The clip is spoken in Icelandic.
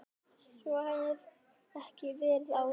Svo hafi ekki verið áður.